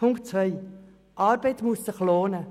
Zweitens: Arbeit muss sich lohnen.